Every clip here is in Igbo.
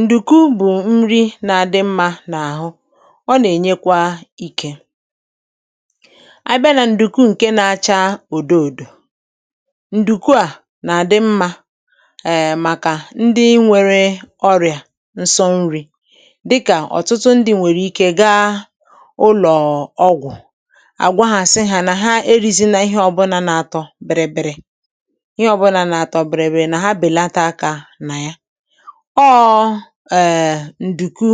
Ǹdùkwu bụ nri dị mma n’ahụ, ọ na-enyekwa ike. Ǹdùkwu nke na-acha odo odo dị ezigbo mma maka ndị nwere ọrịa nso nri, um n’ihi na ọtụtụ ndị nwere ọrịa a na-aga ụlọ ọgwụ, na-akọ na ha na-eri nri, ma ihe ha na-eri niile na-atọ biri biri, biri biri. Ha na-efunahụ agụụ. Ma a na-akwado ǹdùkwu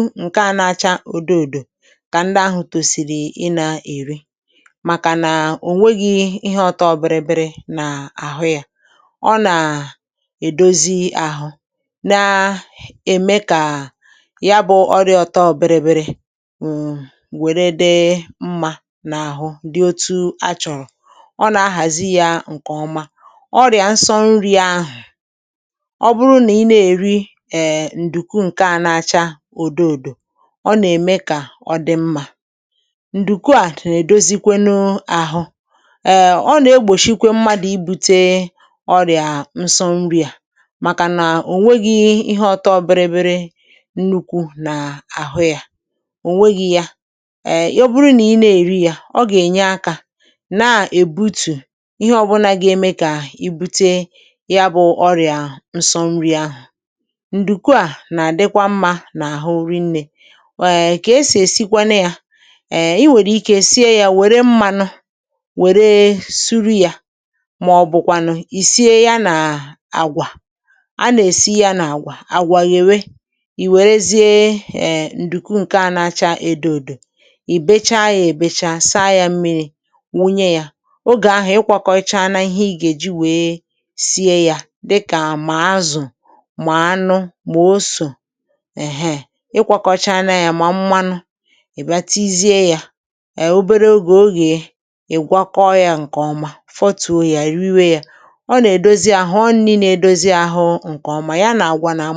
odo odo maka ndị ahụ ka ha rie ya, n’ihi na ọ nweghị ihe na-atọ biri biri, biri biri n’ime ya. Ọ na-enyere ahụ aka, na-eme ka ahụ dị mma, um ma na-eme ka ọrịa nso nri kwụsị, na-eme ka ahụ sie ike. Ǹdùkwu odo odo na-eme ka ahụ dịkwuo mma, ọ na-egbochi mmadụ ibute ọrịa nso nri, n’ihi na ọ nweghị ihe na-atọ biri biri, biri biri n’ime ya. Ọ bụrụ na i rie ya, ọ ga-enyekwu gị agụụ ma belata ohere ibute ọrịa ahụ. Ǹdùkwu odo odo bụkwa ezigbo nri maka ahụ. Banyere esi ya, um enwere ụzọ dị iche iche esi ǹdùkwu. Ị nwere ike isi ya rie ya na mmanụ, ma ọ bụ frya ya, frya ya, um ma ọ bụ kwụọ ya n’ọkụ. Ị nwekwara ike ikuya ya, dabere n’otú i chọrọ esi ya. Mgbe ịchọrọ isi ǹdùkwu odo odo, i ga-epị ya, saa ya nke ọma, tinye ya n’ime mmiri. Mgbe ahụ, i ga-ekpoo ya ruo mgbe ọ dị njikere. Ị nwere ike iri ya na mmanụ akwụ, ma ọ bụ frya ya na mmanụ, um ma ọ bụ mee ya poriji site n’itinye ihe ndị ọzọ gbakwunye ya. N’ụzọ niile a, ọ na-eme ka ahụ sie ike, nye nri ọma, ma mee ka nri na-atọ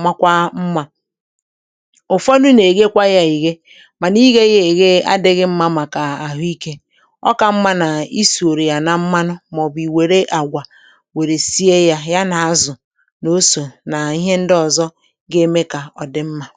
ụtọ nke ọma. Ụfọdụ mmadụ na-fryekwa ya, frya ya, ma frying adịghị mma n’ihi mmanụ. Ọ ka mma ka a rie ya esi ya, ma ọ bụ kwụọ ya n’ọkụ, ma ọ bụ mee ya poriji, um n’ihi na nke ahụ na-enye ahụ ike. Ọ bụ otú a ka a na-esi ǹdùkwu n’ụzọ dị iche iche, ka ọ bụrụ nri ọma na-enye ahụ ike.